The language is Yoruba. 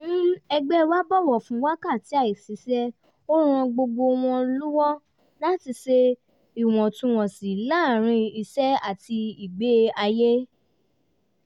ẹgbẹ́ wa bọ̀wọ̀ fún wákàtí àìṣiṣẹ́ ó ràn gbogbo wọn lụ́wọ́ láti ṣe ìwọ̀ntúnwọ̀nsì láàárín iṣẹ́ àti ìgbé-ayé